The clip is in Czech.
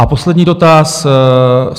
A poslední dotaz.